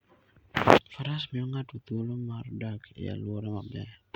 Faras miyo ng'ato thuolo mar dak e alwora maber.